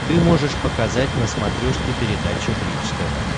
ты можешь показать на смотрешке передачу бридж тв